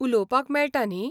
उलोवपाक मेळटा न्ही?